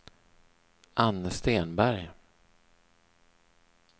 Anne Stenberg